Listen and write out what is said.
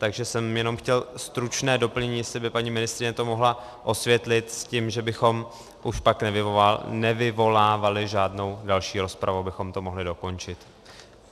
Takže jsem jenom chtěl stručné doplnění, jestli by paní ministryně to mohla osvětlit, s tím, že bychom už pak nevyvolávali žádnou další rozpravu, abychom to mohli dokončit.